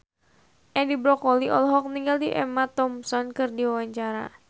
Edi Brokoli olohok ningali Emma Thompson keur diwawancara